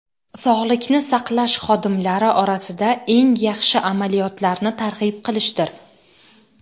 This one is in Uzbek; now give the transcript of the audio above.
sog‘likni saqlash xodimlari orasida eng yaxshi amaliyotlarni targ‘ib qilishdir.